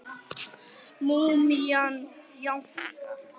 Múmían jánkar.